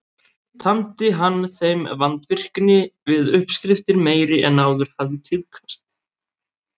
Tamdi hann þeim vandvirkni við uppskriftir meiri en áður hafði tíðkast.